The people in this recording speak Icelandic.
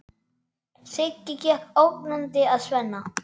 Siggi gekk ógnandi að Svenna.